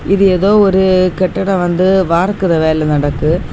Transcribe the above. இது ஏதோ ஒரு கட்டடம் வந்து வார்க்குற வேலை நடக்கு.